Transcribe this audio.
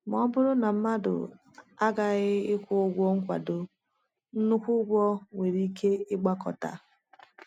Ma ọ bụrụ na mmadụ aghaghị ịkwụ ụgwọ nkwado, nnukwu ụgwọ nwere ike ịgbakọta.